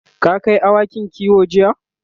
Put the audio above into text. ka Kai awakin kiwo jiya?